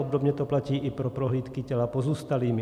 Obdobně to platí i pro prohlídky těla pozůstalými.